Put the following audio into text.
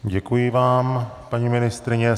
Děkuji vám, paní ministryně.